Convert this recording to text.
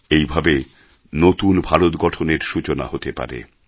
এইভাবেই নতুন ভারত গঠনের সূচনা হতে পারে